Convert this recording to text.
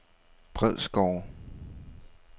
Bredsgårde